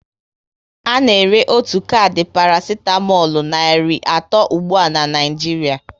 Ana ere otu kardi parasitamolu nari atọ ụgbụa na Naịjiria